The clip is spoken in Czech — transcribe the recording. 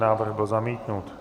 Návrh byl zamítnut.